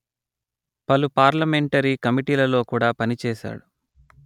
పలు పార్లమెంటరీ కమిటీలలో కూడా పనిచేశాడు